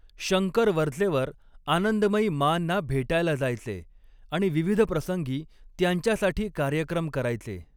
शंकर वरचेवर आनंदमयी माँना भेटायला जायचे आणि विविध प्रसंगी त्यांच्यासाठी कार्यक्रम करायचे.